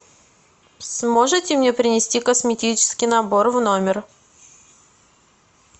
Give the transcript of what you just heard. сможете мне принести косметический набор в номер